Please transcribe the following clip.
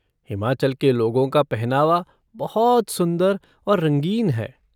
हिमाचल के लोगों का पहनावा बहुत सुंदर और रंगीन है।